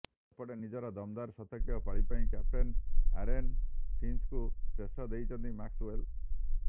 ସେପଟେ ନିଜର ଦମଦାର ଶତକୀୟ ପାଳି ପାଇଁ କ୍ୟାପ୍ଟେନ ଆରୋନ୍ ଫିଞ୍ଚଙ୍କୁ ଶ୍ରେୟ ଦେଇଛନ୍ତି ମ୍ୟାକ୍ସଓ୍ବେଲ୍